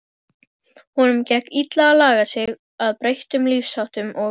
Honum gekk illa að laga sig að breyttum lífsháttum og